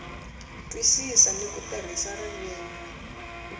twisisa ni ku tirhisa ririmi